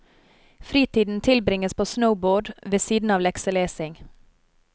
Fritiden tilbringes på snowboard, ved siden av lekselesing.